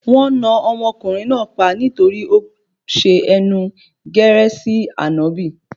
Wọn náà ọmọkùnrin náà pa nítorí pé ó ṣe ẹnu gẹ̀rẹ̀ sí ànábì